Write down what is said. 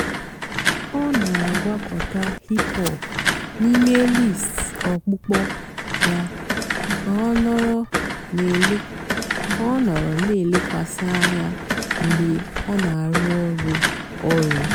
ọ́ nà-àgwàkọ̀tá hìp-hòp n'íìmé lístì ọ̀kpụ́kpọ́ yá kà ọ́ nọ̀rọ́ nà-èlékwasị́ ànyá mg̀bé ọ́ nà-àrụ́ ọ̀rụ́. ọ̀rụ́.